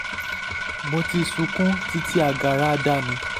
mo ti sunkún títí agara dá mi